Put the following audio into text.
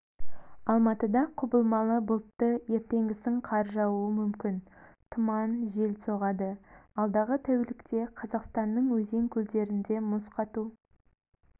алматыда құбылмалы бұлтты ертеңгісін қар жаууы мүмкін тұман жел соғады алдағы тәулікте қазақстанның өзен-көлдерінде мұз қату